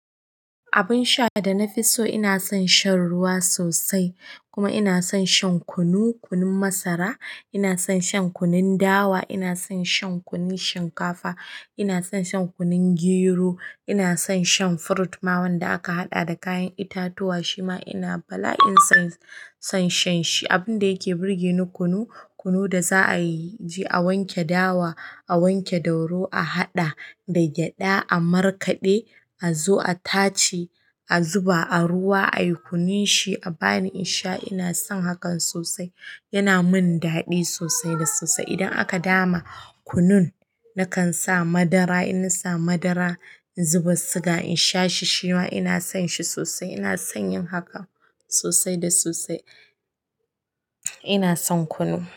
Abun sha da na fi so, ina son shan ruwa sosai. Kuma ina son shan kunu, kunun masara, ina son shan kunun dawa, ina son shan kunun shinkafa, ina son shan kunun gero, ina son shan fruit ma wanda aka haɗa da kayan itatuwa shima ina bala'in sonsa son shan shi. Abun da yake burge ni kunu, kunu da za a yi, a wanke dawa, a wanke doro, a haɗa da gyaɗa, a markaɗe, a zo a tace, a zuba a ruwa, a yi kunun shi, a bani in sha ina son hakan sosai. Yana min daɗi sosai da sosai. Idan aka dama kunun nakan sa madara, inna sa madara, in zuba siga in sha shi shima ina son shi sosai. Ina son yin hakan sosai da sosai. Ina son kunu.